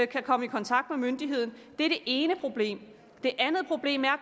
kan komme i kontakt med myndigheden det er det ene problem det andet problem er